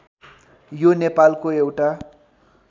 यो नेपालको एउटा